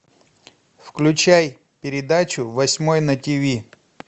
включай передачу восьмой на тиви